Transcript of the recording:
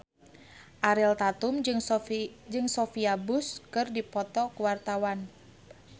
Ariel Tatum jeung Sophia Bush keur dipoto ku wartawan